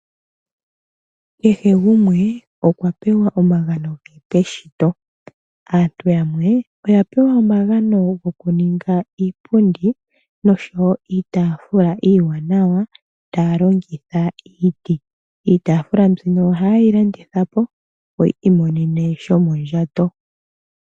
Kehe gumwe okwa pewa omagano ge peshito. Aantu yamwe oya pewa omagano gokuninga iipundi nosho wo iitaafula iiwanawa taya longitha iiti. Iitaafula mbino ohaye yi landitha po, opo yi imonene shomondjato.